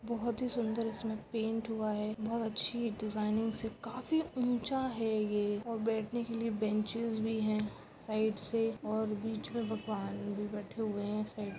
बहुत ही सूंदर इसमें पेंट हुआ है बहुत अच्छीसी डिज़ाइन काफी ऊँचा है ये बैठने के लिए बेंचेस भी है साइड से और बिचमें भगवान भी बैठे हुए है।